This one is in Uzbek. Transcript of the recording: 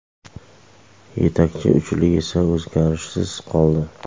Yetakchi uchlik esa o‘zgarishsiz qoldi.